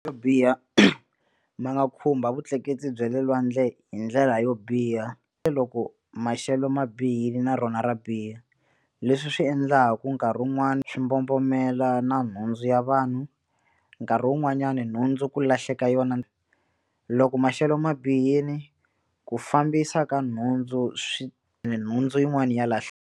Yo biha ma nga khumba vutleketli bya le lwandle hi ndlela yo biha loko maxelo ma bihile na rona ra biha leswi swi endlaku nkarhi wun'wani swi mbombomela na nhundzu ya vanhu nkarhi wun'wanyani nhundzu ku lahleka yona loko maxelo ma bihile ku fambisa ka nhundzu swi nhundzu yin'wani ya .